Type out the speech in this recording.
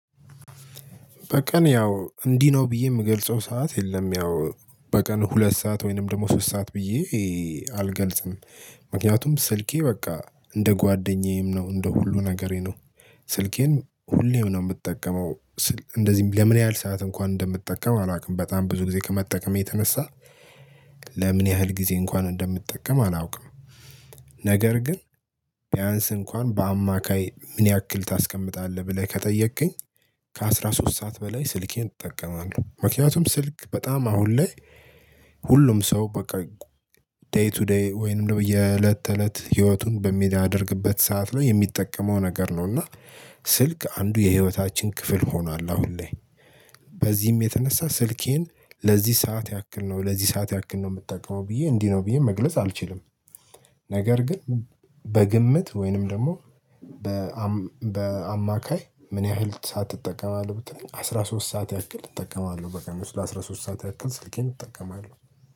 በቀን ያው እንዲህ ነው ብዬ ምገልጸው ሰዓት የለም ያው በቀን ሁለት ሰዓት ወይንም ደግሞ ሶስት ሰዓት ብዬ አልገልጽም። ምክንያቱም ስልኬ በቃ እንደ ጓደኛዬም ነው እንደ ሁሉ ነገሬ ነው ስልኬን ሁሌም ነው ምጠቀመው። እንደዚህም ለምን ያህል ሰዓት እንኳን እንደምጠቀም አላውቅም በጣም ብዙ ጊዜ ከመጠቀም የተነሳ ለምን ያህል ጊዜ እንኳን እንደምትጠቀም አላውቅም። ነገር ግን ቢያንስ እንኳን በአማካይ ምን ያክል ታስቀምጣለህ ብለህ ከጠየቅክኝ? ከአሥራ ሶስት ሰዓት በላይ ስልኬን እጠቀማለሁ ምክንያቱም ስልክ በጣም አሁን ላይ። ሁሉም ሰው በቃ ዴይ ቱ ዴይ ወይንም ደግሞ የእለት ተእለት ህይወቱን በሚያደርግበት ሰዓት ነው የሚጠቀመው ነገር ነው። እና ስልክ አንዱ የህይወታችን ክፍል ሆኗል አሁን ላይ። በዚህም የተነሳ ስልኬን ለዚህ ሰዓት ያክል ነው ለዚህ ሰዓት ያክል ነው ምጠውቀው ብዬ እንዲህ ነው ብዬ መግለጽ አልችልም። ነገር ግን በግምት ወይንም ደግሞ በአማካይ ምን ያህል ሰዓት ትጠቀማለህ ብትል? አስራ ሶስት ሰዓት ያክል እጠቀማለሁ በቀን ውስጥ ለአስራ ሶስት ሰዓት ያክል ስልኬን እጠቀማለሁ።